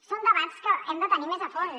són debats que hem de tenir més a fons